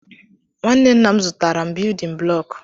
Nwanne nna m zụtaara m biyudin bụlọku.